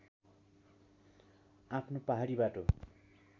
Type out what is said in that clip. आफ्नो पहाडी बाटो